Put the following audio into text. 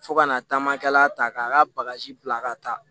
Fo kana taamakɛla ta k'a ka bagaji bila ka taa